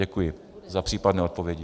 Děkuji za případné odpovědi.